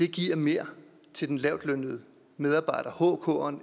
giver mere til den lavtlønnede medarbejder hkeren